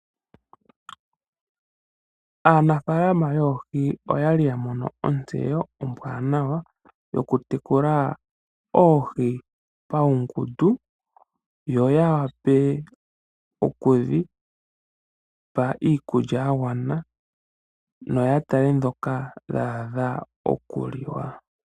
Aanafaalama yoohi oya li ya mono otseyo ombwaanawa yokutekula oohi paungundu yo ya wape oku dhi pa iikulya ya gana, noya tale dhoka dha a dha okuliwa.